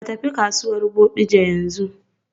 Ka tafi kasuwar Bodija yanzu.